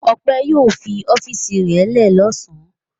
Ọpẹ́ yóò fi ọ́fíísì rẹ̀ lẹ́ ẹ̀ lọ́sàn-án.